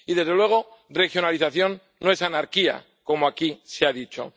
Y, desde luego, regionalización no es anarquía, como aquí se ha dicho.